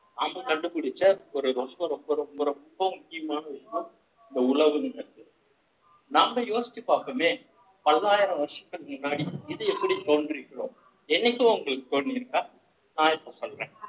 அப்ப கண்டுபிடிச்ச ஒரு ரொம்ப ரொம்ப ரொம்ப முக்கியமான விஷயம் இந்த உழவுங்கறது நாம் யோசிச்சு பார்ப்போமே பல்லாயிரம் வருஷத்துக்கு முன்னாடி இது எப்படி தோன்றியிருக்கிறோம் என்னைக்கோ உங்களுக்கு தோன்றியிருக்கா நான் இப்ப சொல்றேன்